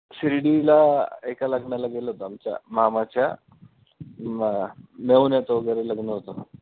शिर्डीला एका लग्नाला गेलो होतो आमच्या मामाच्या म अं मेवण्याचं वैगरे लग्न होतं.